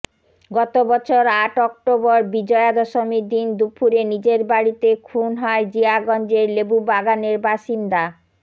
গত বছর আট অক্টোবর বিজয়া দশমীর দিন দুপুরে নিজের বাড়িতে খুন হয় জিয়াগঞ্জের লেবুবাগানের বাসিন্দা